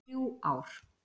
Þrjú ár.